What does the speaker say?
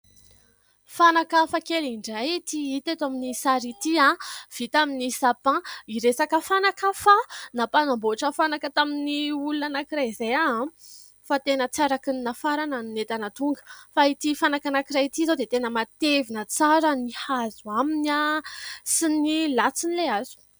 Fanaka hafa kely indray ity hita eto amin'ny sary ity vita amin'ny "sapin" hiresaka fanaka aho fa nampanamboatra fanaka tamin'ny olona anankiray izay aho ; fa tena tsy araka ny entana nafarana ny entana tonga ; fa ity fanaka anankiray ity izao dia tena matevina tsara ny hazo aminy sy ny latsiny ilay hazo.